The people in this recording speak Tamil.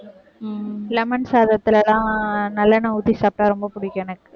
உம் lemon சாதத்திலேதான் நல்லெண்ணெய் ஊத்தி சாப்பிட்டா ரொம்ப பிடிக்கும் எனக்கு.